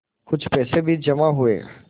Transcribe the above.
कुछ पैसे भी जमा हुए